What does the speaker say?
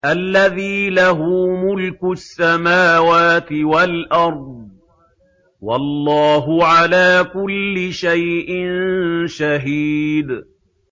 الَّذِي لَهُ مُلْكُ السَّمَاوَاتِ وَالْأَرْضِ ۚ وَاللَّهُ عَلَىٰ كُلِّ شَيْءٍ شَهِيدٌ